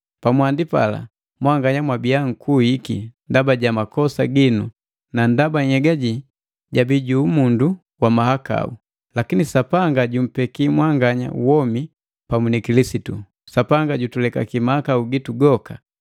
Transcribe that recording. Pamwandi pala, mwanganya mwabiya mkuiki ndaba ja makosa ginu na ndaba nhyega jii jabii ju umundu wa mahakau. Lakini Sapanga jumpeki mwanganya womi pamu ni Kilisitu. Sapanga jutulekaki mahakau gitu goka,